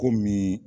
Komi